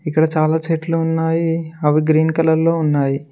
ఇక్కడ చాలా చెట్లు ఉన్నాయి అవి గ్రీన్ కలర్ లో ఉన్నాయి.